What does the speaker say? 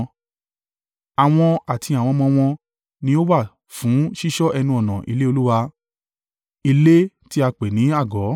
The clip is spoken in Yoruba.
Àwọn àti àwọn ọmọ wọn ni ó wà fún ṣíṣọ́ ẹnu-ọ̀nà ilé Olúwa ilé tí a pè ní àgọ́.